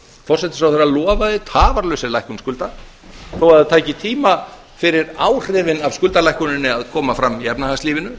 forsætisráðherra lofaði tafarlausri lækkun skulda þó að það tæki tíma fyrir áhrifin af skuldalækkuninni að koma fram í efnahagslífinu